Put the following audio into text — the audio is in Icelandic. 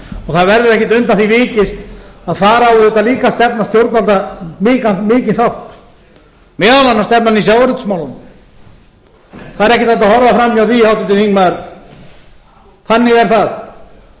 það verður ekkert undan því vikist að þar á líka stefna stjórnvalda mikinn þátt meðal annars stefnan í sjávarútvegsmálunum það er ekkert hægt að horfa fram hjá því háttvirtur þingmaður þannig er það þó